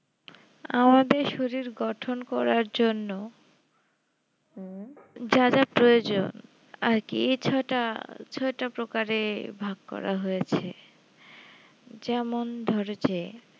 আমাদের শরীর গঠন করার জন্য যা যা প্রয়োজন আর কি ছটা ছটা প্রকারের ভাগ করা হয়েছে যেমন ধরেছে